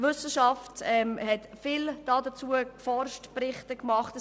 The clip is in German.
Die Wissenschaft hat viel dazu geforscht und Berichte geschrieben.